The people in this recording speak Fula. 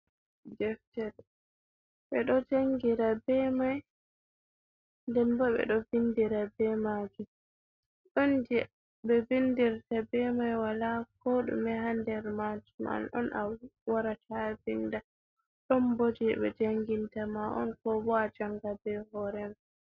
Deftere ɓeɗo jangira be mai nden bo ɓeɗo vindira be majum. Ɗon je ɓe vindirta be mai wala ko ɗume ha nder majum an on a warata vinda. Ɗon bo je ɓe janginta ma on ko bo ajanga be hore ma.